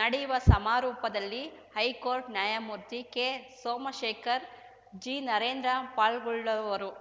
ನಡೆಯುವ ಸಮಾರೋಪದಲ್ಲಿ ಹೈಕೋರ್ಟ್ ನ್ಯಾಯಮೂರ್ತಿ ಕೆಸೋಮಶೇಖರ್ ಜಿನರೇಂದರ್‌ ಪಾಲ್ಗೊಳ್ಳುವರು